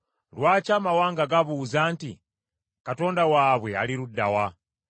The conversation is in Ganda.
Lwaki amawanga gabuuza nti, “Katonda waabwe ali ludda wa?”